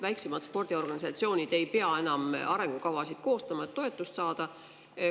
Väiksemad spordiorganisatsioonid ei pea enam arengukavasid koostama, et toetust saada.